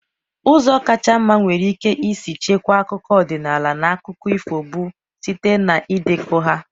Ụzọ kacha mma enwere ike isi chekwaa akụkọ ọdịnala na akụkọ ifo bụ site na ịdekọ ha.